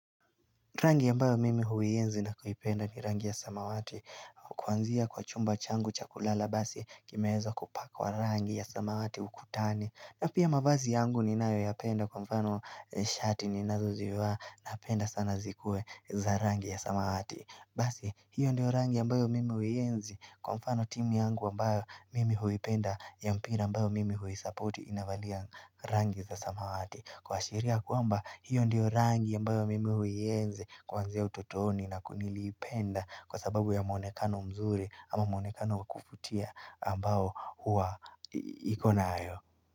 Rangi ambayo mimi huienzi na kuipenda ni rangi ya samawati. Kwanzia kwa chumba changu cha kulala basi kimeweza kupakwa rangi ya samawati ukutani. Na pia mavazi yangu ninayoyapenda kwa mfano shati ninazozivaa napenda sana zikue za rangi ya samawati. Basi hiyo ndio rangi ambayo mimi huienzi kwa mfano timu yangu ambayo mimi huipenda ya mpira ambayo mimi huisurport inavalia rangi za samawati. Mimi huienzi kwanzia utotoni na kulipenda kwa sababu ya mwonekano mzuri ama mwonekano kuvutia ambao huwa ikona nayo.